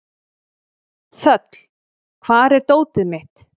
Þöll, hvar er dótið mitt?